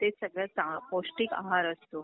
ते सगळ्यात चा पौष्टिक आहार असतो.